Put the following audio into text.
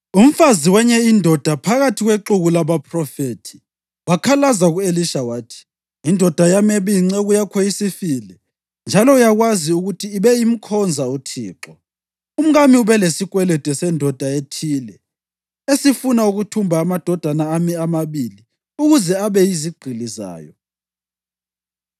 Umfazi wenye indoda phakathi kwexuku labaphrofethi wakhalaza ku-Elisha wathi, “Indoda yami ebiyinceku yakho isifile, njalo uyakwazi ukuthi ibe imkhonza uThixo. Umkami ubelesikwelede sendoda ethile esifuna ukuthumba amadodana ami amabili ukuze abe yizigqili zayo.”